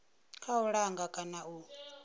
kha u langa kana u